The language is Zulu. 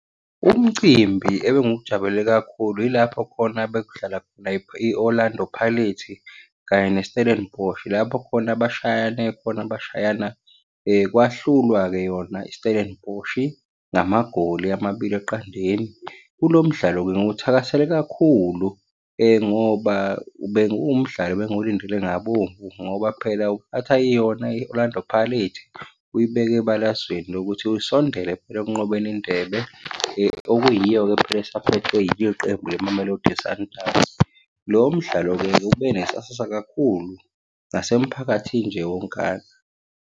Umcimbi ebengujabulele kakhulu yilapho khona bekudlala khona i-Orlando Pirates, kanye ne-Stellenbosch. Lapho khona bashayane khona bashayana kwahlulwa-ke yona i-Stellenbosch ngamagoli amabili eqandeni. Kulo mdlalo benguthakasele kakhulu ngoba bekuwumdlalo ebengiwulindile ngabomvu ngoba phela yona i-Orlando Pirates, uyibeke ebalazweni lokuthi usondele phela ekunqobeni indebe okuyiyo-ke phela esaphethwe yilo iqembu leMamelodi Sundowns. Lowo mdlalo-ke ube nesasasa kakhulu, nasemphakathini nje wonkana.